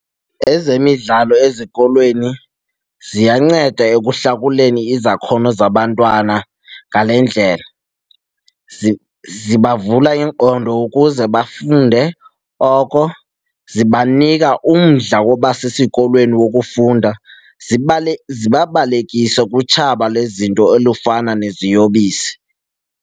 Ezemidlalo ezikolweni ziyanceda ekuhlakuleni izakhono zabantwana ngale ndlela. Zibavula ingqondo ukuze funde oko, zibanika umdla woba sesikolweni wokufunda, zibabalekise kutshaba lwezinto olufana neziyobisi.